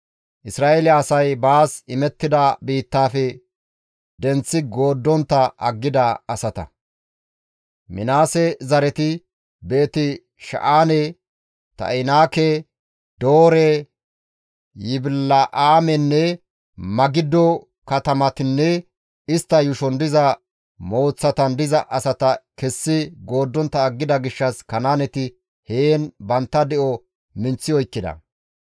Minaase zareti, Beeti-Sha7aane, Ta7inaake, Doore, Yibila7aamenne Magiddo katamataninne istta yuushon diza mooththatan diza asata kessi gooddontta aggida gishshas Kanaaneti heen bantta de7o minththi oykkida.